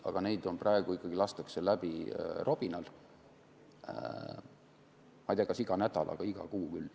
Aga neid lastakse ikkagi praegu robinal läbi, ma ei tea, kas iga nädal, aga iga kuu küll.